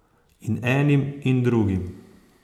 In enim in drugim.